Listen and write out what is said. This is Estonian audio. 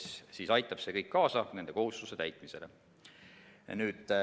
See kõik aitab kaasa nende kohustuste täitmisele.